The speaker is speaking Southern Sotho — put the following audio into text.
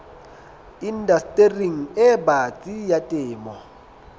indastering e batsi ya temo